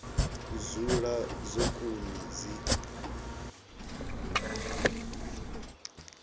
u dzula dzo kuna dzi